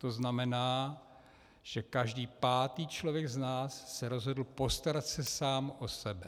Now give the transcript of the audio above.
To znamená, že každý pátý člověk z nás se rozhodl postarat se sám o sebe.